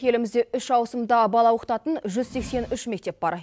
елімізде үш ауысымда бала оқытатын жүз сексен үш мектеп бар